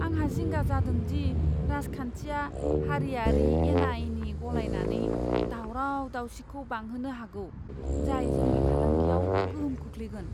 आंहा जिंगा जादों दि राजखान्थिआ हारियारि एनाएनि गलायनानै दावराव दावसिखौ बांहोनो हागौ, जाय जोंनि फालांगियाव गोहोम खोख्लैगोन।